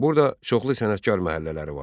Burda çoxlu sənətkar məhəllələri vardı.